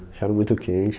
Acharam muito quente.